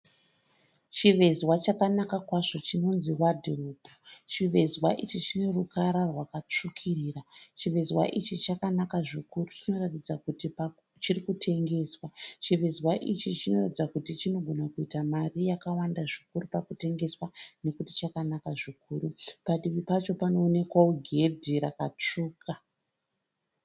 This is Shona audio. Chivezwa chakanaka kwazvo chinonzi wadhirobi, chivezwa ichi chine ruvara rwakasvukirira. Chivezwa ichi chakanaka zvikuru chinoratidza kuti pamwe chirikutengeswa. Chivezwa ichi chinoratidza kuti chinogona kuita mari yakawanda zvikuru pakutengswa nokuti chakanaka zvikuru. Padivi pacho panoonekwa gedhe rakasvuka.